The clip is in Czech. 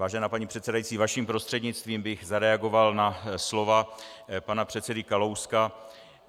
Vážená paní předsedající, vaším prostřednictvím bych zareagoval na slova pana předsedy Kalouska.